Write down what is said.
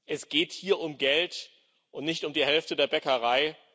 Es geht hier um Geld und nicht um die Hälfte der Bäckerei.